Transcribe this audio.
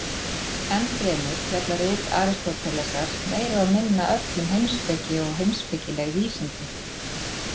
Enn fremur fjalla rit Aristótelesar meira og minna öll um heimspeki og heimspekileg vísindi.